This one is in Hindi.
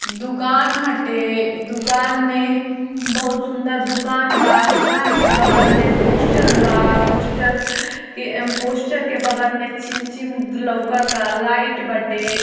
दुकान हटे दुकान में बहुत सुंदर दुकान बा दुकान के बगल में पोस्टर बा। पोस्टर के पोस्टर के बगल में चिम चिम लोकता लाइट बाटे।